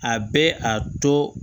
A bɛ a to